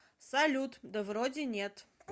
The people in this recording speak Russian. салют да вроде нет